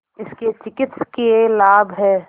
इसके चिकित्सकीय लाभ हैं